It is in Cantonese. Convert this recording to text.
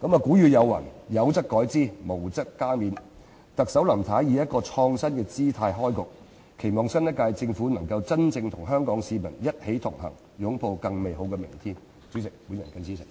古語有云："有則改之，無則加勉"，特首林太以一個"創新"的姿態開局，期望新一屆政府能夠真正與香港市民一起同行，擁抱更美好的明天。